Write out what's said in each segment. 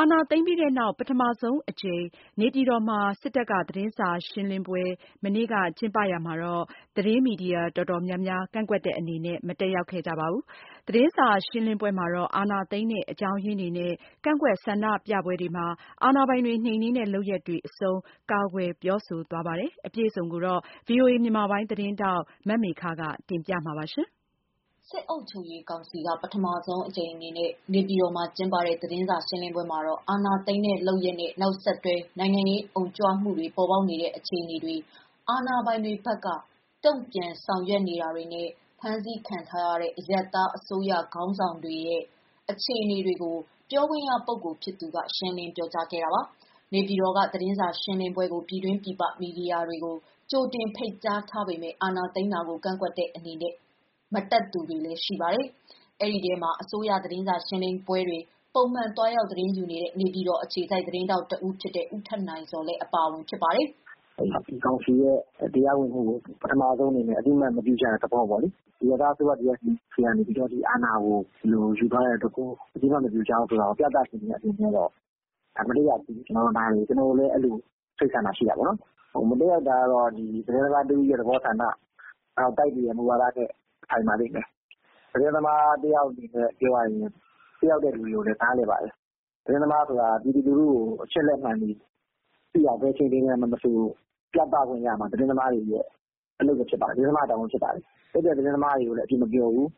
အာဏာသိမ်းပြီးနောက် ပထမဆုံးအကြိမ် နေပြည်တော်မှာ စစ်တပ်က သတင်းစာရှင်းလင်းပွဲ ကျင်းပရာမှာတော့ သတင်းမီဒီယာ တော်တော်များများ ကန့်ကွက်တဲ့အနေနဲ့ မတက်ရောက်ခဲ့ကြပါဘူး။ သတင်းစာရှင်းလင်းပွဲမှာတော့ အာဏာသိမ်းတဲ့ အကြောင်းရင်းတွေနဲ့ ကန့်ကွက်ဆန္ဒပြပွဲတွေမှာ အာဏာပိုင်တွေ နှိမ်နင်းတဲ့ လုပ်ရပ်တွေအဆုံး ကာကွယ်ပြောဆိုသွားပါတယ်။ အပြည့်အစုံကိုတော့ ဗွီအိုအေ မြန်မာပိုင်းသတင်းထောက် မမေခက တင်ပြပေးမှာ ဖြစ်ပါတယ်။ စစ်အုပ်ချုပ်ရေးကောင်စီက ပထမဆုံးအကြိမ်အဖြစ် နေပြည်တော်မှာ ကျင်းပတဲ့ သတင်းစာရှင်းလင်းပွဲမှာတော့ အာဏာသိမ်းတဲ့ လုပ်ရပ်နဲ့ နောက်ဆက်တွဲ နိုင်ငံရေးအုံကြွမှုတွေ ပေါ်ပေါက်နေတဲ့ အခြေအနေတွေ၊ အာဏာပိုင်တွေဘက်က တုံ့ပြန်ဆောင်ရွက်နေတာတွေနဲ့ ဖမ်းဆီးခံထားရတဲ့ အရပ်သား အစိုးရခေါင်းဆောင်တွေရဲ့ အခြေအနေတွေကို ပြောခွင့်ရပုဂ္ဂိုလ်ဖြစ်သူက ရှင်းလင်းဖြေကြားခဲ့တာပါ။ နေပြည်တော်က သတင်းစာရှင်းလင်းပွဲကို ပြည်တွင်း၊ ပြည်ပ မီဒီယာတွေကို ကြိုတင်ဖိတ်ကြားထားပေမယ့် အာဏာသိမ်းတာကို ကန့်ကွက်တဲ့ အနေနဲ့ မတက်သူတွေလည်း ရှိပါတယ်။ ဒီအထဲမွာ အစိုးရသတင်းစာရှင်းလင်းပွဲတွေကိုပုံမှန်သွားရောက် သတင်းယူနေတဲ့ နေပြည်တော်အခြေစိုက် သတင်းထောက် တဦးဖြစ်တဲ့ ဦးထက်နိုင်ဇော်လည်း တဦးအပါအဝင် ဖြစ်ပါတယ်။ “အခုကောင်စီရဲ့ တရားဝင်မှုကို ပထမဆုံးအနေနဲ့ အသိမှတ်မပြုကြတဲ့သဘောပေါ့။ အရပ်သားအစိုးရလက်ထဲကနေ အာဏာကိုယူသွားတာကို ဘယ်သူမှ မကြည်ဖြူတာကိုပြသတဲ့ အနေနဲ့တော့ မတက်ရောက်တာ နားလည်တယ်။ ကျနော်တို့လည်း အဲစိတ်ဆန္ဒရှိတယ်။ မတက်ရောက်တာက သတင်းသမားတဦးသဘောနဲ့ တိုက်ဆိုင်တဲ့ မူဝါဒဆိုင်ပါလိမ့်မယ်။ သတင်းသမားအနေနဲ့ တက်ရောက်သူတွေကိုလည်း နားလည်ပါတယ်။ သတင်းသမားဆိုတာ ဘယ်အခြေအနေမှာ မဆို ပြည်သူကို သတင်းချပြရမှာ သူ့တာဝန်ပါ။ တက်တဲ့ သတင်းသမားတွေကို အပြစ်မပြောဘူး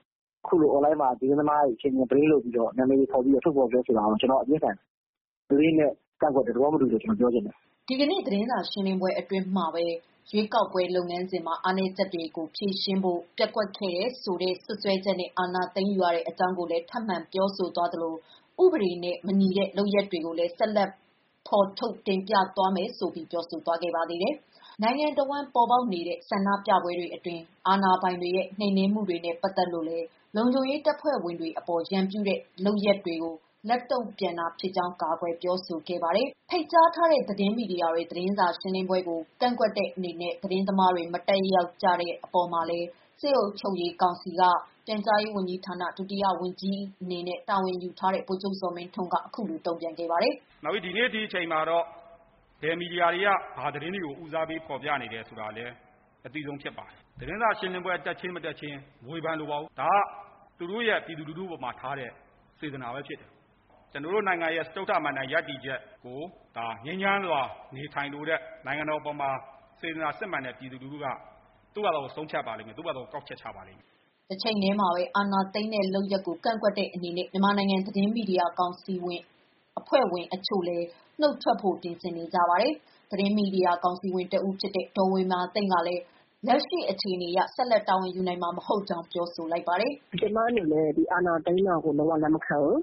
၊ သတင်းသမား ဟာ ကိုယ်ရောက်တဲ့ နေရာမှာ ကိုယ့်အလုပ်ကိုလုပ်တာပါ။ အခုလို အွန်လိုင်းမှာ ဆိုရှယ်မီဒီယာတွေမှာ သတင်းသမားနာမည်တွေ ဘလိန်းလုပ် နာမည်ဖော်လုပ်တာကိုတော့ ကျနော်သဘောမတူပါဘူး။” ဒီကနေ့ သတင်းစာရှင်းလင်းပွဲအတွင်းမှာပဲ ရွေးကောက်ပွဲ လုပ်ငန်းစဉ်မှာ အားနည်းချက်တွေကို ဖြေရှင်းဖို့ ပျက်ကွက်ခဲ့တယ်ဆိုတဲ့ စွပ်စွဲချက်နဲ့ အာဏာသိမ်းယူရတဲ့အကြောင်းကိုလည်း ထပ်မံပြောဆိုသွားသလို၊ ဥပဒေနဲ့ မညီတဲ့ လုပ်ရပ်တွေကိုလည်း ဆက်လက်ဖော်ထုတ် တင်ပြသွားမယ်ဆိုပြီး ပြောဆိုသွားပါတယ်။ နိုင်ငံအဝန်း ပေါ်ပေါက်နေတဲ့ ဆန္ဒပြပွဲတွေအတွင်း အာဏာပိုင်တွေရဲ့ နှိမ်နင်းမှုတွေနဲ့ ပတ်သက်လို့လည်း လုံခြုံရေး တပ်ဖွဲ့ဝင်တွေအပေါ် ရန်ပြုတဲ့လုပ်ရပ်တွေကို လက်တုံ့ပြန်တာဖြစ်ကြောင်း ကာကွယ်ပြောဆိုခဲ့တာပါ။ ဖိတ်ကြားထားတဲ့ သတင်းမီဒီယာတွေ သတင်းစာရှင်းလင်းပွဲကို ကန့်ကွက်တဲ့အနေနဲ့ သတင်းသမားတွေ မတက်ရောက်ကြတဲ့ အပေါ်မှာလည်း စစ်အုပ်ချုပ်ရေးကောင်စီမှာ ပြန်ကြားရေး ဝန်ကြီးဌာန ဒုတိယဝန်ကြီးတာဝန်ယူထားတဲ့ ဗိုလ်မှူးချုပ်ဇော်မင်းထွန်းက တုံ့ပြန်ခဲ့ပါတယ်။ “ ဒီနေ့ဒီချိန်မှာ ဘယ်မီဒီယာက ဘာတွေ ဦးစားပေး ဖော်ပြနေတယ် အသိဆုံးဖြစ်ပါတယ်။ သတင်းစာရှင်းလင်းပွဲ တက်ခြင်း၊ မတက်ခြင်း မဝေဖန်လိုပါဘူး။ ဒါကသူတို့ရဲ့ ပြည်သူပေါ်ထားတဲ့ စေတနာဖြစ်တယ်။ ကျနော်တို့နိုင်ငံရဲ့ စတုတ္ထမဏ္ဍိုင်ရပ်တည်ချက်ကို ငြိမ်းချမ်းစွာနေထိုင်လိုတဲ့ ပြည်သူလူထုက သူတို့ဘာသာ ဆုံးဖြတ်ပါလိမ့်မယ်။” တချိန်တည်းမှာပဲ အာဏာသိမ်းတဲ့ လုပ်ရပ်ကို ကန့်ကွက်တဲ့အနေနဲ့ မြန်မာနိုင်ငံ သတင်းမီဒီယာကောင်စီ အဖွဲ့ဝင်တချို့လည်း နုတ်ထွက်ဖို့ ပြင်ဆင်နေကြပါတယ်။ သတင်းမီဒီယာကောင်စီဝင် တဦးဖြစ်တဲ့ ဒေါ်ဝေမာသိမ့်ကလည်း လက်ရှိအခြေအနေအရ ဆက်လက် တာဝန်ယူနိုင်မှာမဟုတ်ကြောင်း ပြောပါတယ်။ “ ကျအနေနဲ့ ဒီအာဏာသိမ်းတာကို လက်မခံဘူး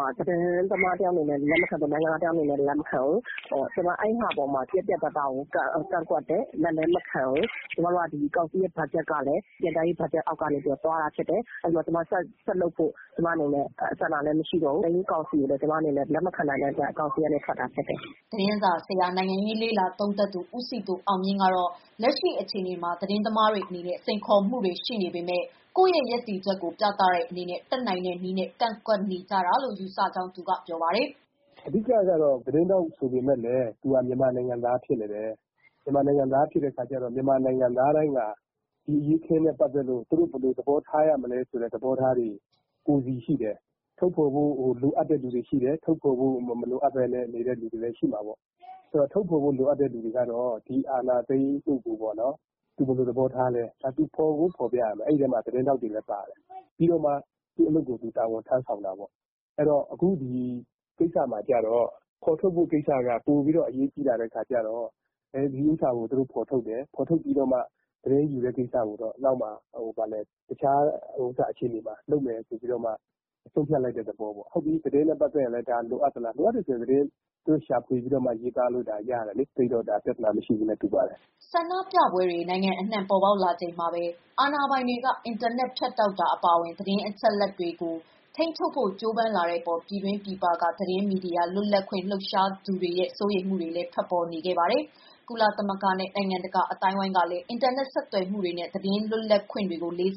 ၊ သတင်းသမားတယောက်အနေနဲ့ လည်းလက်မခံဘူး အဲဒီအပေါ်မှာ ကျမ ပြတ်ပြတ်သားသား ကန့်ကွက်တယ်၊ လက်လည်းမခံဘူး။ နောက်ကောင်စီဘက်ဂျက်ကလဲ ပြန်ကြားရေးကနေ သွားတာရှိတယ်။ အဲဒါကြောင့် ကျမ ဆက်လုပ်ဖို့ ဆန္ဒလည်း မရှိတော့ဘူး ။ ဒီတော့ကျမ အာဏာသိမ်း ကောင်စီကိုလည်း လက်မခံနိုင်တာမို့ ကောင်စီကနေ နုတ်ထွက်တာဖြစ်တယ်။” သတင်းစာဆရာ နိုင်ငံရေးလေ့လာသုံးသပ်သူဦးစည်သူအောင်မြင့်ကတော့ လက်ရှိအခြေအနေမှာ သတင်းသမားတွေ အနေနဲ့ စိန်ခေါ်မှုတွေ ရှိနေပေမယ့် ကိုယ့်ရဲ့ရပ်တည်ချက်ကို ပြသတဲ့အနေနဲ့ တတ်နိုင်တဲ့နည်းနဲ့ ကန့်ကွက်နေကြတာလို့ ယူဆကြောင်းပြောပါတယ်။ “အဓိကကတော့ သတင်းထောက်ဆိုပေမယ့် မြန်မာနိုင်ငံသားဖြစ်နေတယ်။ မြန်မာ နိုင်ငံသားတွေဟာ ဒီအရေးအခင်းနဲ့ ပတ်သတ်လို့ သူတို့ ဘယ်လိုသဘောထားရမလဲ ကိုယ်စီရှိတယ်။ ထုတ်ဖော်ဖို့ လိုအပ်သူတွေရှိ သလို၊မလိုအပ်သူတွေလဲရှိတယ် ။ ထုတ်ဖော်ဖို့ လိုတဲ့သူကတော့ ဒီအာဏာသိမ်းမှုကို သူဘယ်လိုသဘောထားလဲဆိုတာ ဖော်ပြတယ် အဲဒီအထဲမှာ သတင်းထောက်တွေလဲပါတယ်။ နောက်မှသူ့အလုပ်ကို သူတာဝန်ထမ်းတာပေါ့။ အခုကိစ္စမှာ ဖော်ထုတ်ဖို့ကိစ္စက ပိုပြီးတော့ အရေးကြီးလာတဲ့ အတွက်ကြောင့် ဒီဟာကို သူတို့ ဖော်ထုတ်တယ်။ ဖော်ထုတ်ပြီးတော့မှ နောက်မှ သတင်းယူတဲ့ ကိစ္စကို တခြားအခြေအနေမှာလုပ်မယ် ဆိုပြီးတော့ ဆုံးဖြတ်လိုက်တဲ့သဘောပေါ့ ။ ဟုတ်ပြီ သတင်းနဲ့ပတ်သက်ရင်လည်း လိုအပ်သလို လိုအပ်တယ်ဆိုရင်လည်း သူတို့ ရေးသားလို့ရတယ်လေ သိပ်ပြီးတော့ ပြဿနာမရှိဘူးနဲ့ တူပါတယ်” ဆန္ဒပြပွဲတွေ နိုင်ငံအနှံ့ ပေါ်ပေါက်နေချိန်မှာပဲ အာဏာပိုင်တွေက အင်တာနက် ဖြတ်တောက်တာ အပါအဝင် သတင်းအချက်အလက်တွေကို ထိန်းချုပ်ဖို့ ကြိုးပမ်းလာတဲ့အပေါ် ပြည်တွင်း၊ ပြည်ပက သတင်းမီဒီယာ လွတ်လပ်ခွင့် လှုပ်ရှားသူတွေရဲ့ စိုးရိမ်မှုတွေလည်း ထွက်ပေါ်ခဲ့ပါတယ်။ ကုလသမဂ္ဂနဲ့ နိုင်ငံတကာ အသိုင်းအဝန်း ကလည်း အင်တာနက် ဆက်သွယ်မှုတွေနဲ့ သတင်းလွတ်လပ်ခွင့်တွေကို လေးစား